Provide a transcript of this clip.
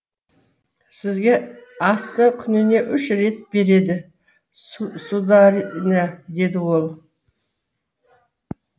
сізге асты күніне үш рет береді сударыня деді ол